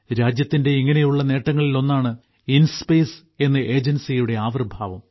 രാജ്യത്തിന്റെ ഇങ്ങനെയുള്ള നേട്ടങ്ങളിൽ ഒന്നാണ് ഇൻസ്പേസ് എന്ന ഏജൻസിയുടെ ആവിർഭാവം